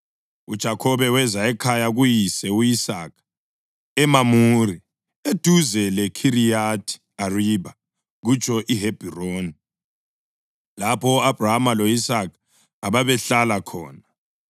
UJakhobe weza ekhaya kuyise u-Isaka eMamure, eduze leKhiriyathi Aribha (kutsho iHebhroni) lapho u-Abhrahama lo-Isaka ababehlala khona.